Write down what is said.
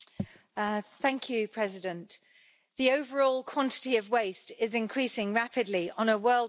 Madam President, the overall quantity of waste is increasing rapidly on a worldwide scale.